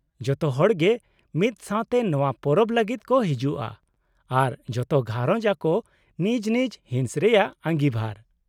-ᱡᱷᱚᱛᱚ ᱦᱚᱲ ᱜᱮ ᱢᱤᱫ ᱥᱟᱶᱛᱮ ᱱᱚᱶᱟ ᱯᱚᱨᱚᱵ ᱞᱟᱹᱜᱤᱫ ᱠᱚ ᱦᱤᱡᱩᱜᱼᱟ, ᱟᱨ ᱡᱷᱚᱛᱚ ᱜᱷᱟᱨᱚᱡᱽ ᱟᱠᱚ ᱱᱤᱡ ᱱᱤᱡ ᱦᱤᱸᱥ ᱨᱮᱭᱟᱜ ᱟᱹᱜᱤᱵᱷᱟᱨ ᱾